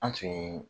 An tun